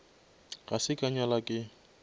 ga se ka nyala ke